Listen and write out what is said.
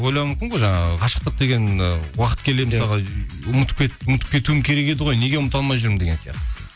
ойлауы мүмкін ғой жаңағы ғашықтық деген ы уақыт келгенде мысалға ұмытып кетуім керек еді ғой неге ұмыта алмай жүрмін деген сияқты